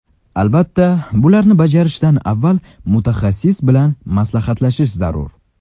Albatta, bularni bajarishdan avval mutaxassis bilan maslahatlashish zarur.